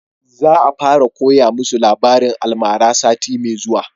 Za a fara koya musu labarin almara sati mai zuwa